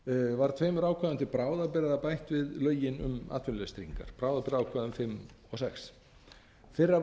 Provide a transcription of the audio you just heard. var tveimur ákvæðum til bráðabirgða bætt við lögin um atvinnuleysistryggingar bráðabirgðaákvæðum fimm og sjötta fyrra bráðabirgðaákvæðið bráðabirgðaákvæði fimm